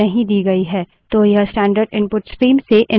तो यह standard input stream से input लेगा